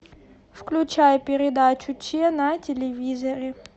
включай передачу че на телевизоре